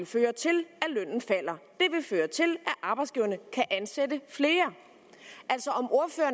føre til at arbejdsgiverne kan ansætte flere altså